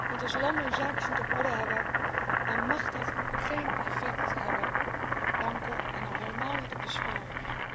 Want als landen hun zaakjes niet op orde hebben, mag dat geen effect hebben op banken en al helemaal niet op de spaarders.